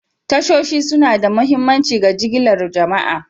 Tashoshi suna da mahimmanci ga jigilar jama'a.